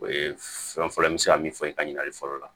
O ye fɛn fɔlɔ fɔlɔ ye n bɛ se ka min fɔ i ka ɲininkali fɔlɔ la